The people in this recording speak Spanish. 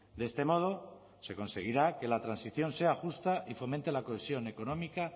de este modo se conseguirá que la transición sea justa y fomente la cohesión económica